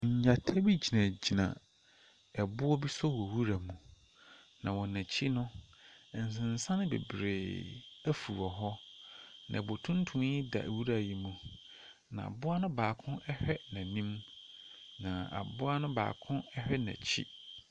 Ngyata bi gyinagyinaboɔ bi so wɔ nwura mu, na wɔn akyi no, nsensan bebree afu wɔ hɔ, na bo tuntum yi da nwura yi mu, na mmoa ne baako hwɛ n’anim, na aboa ne baako hwɛ n’akyi.